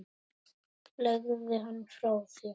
Legðu hann frá þér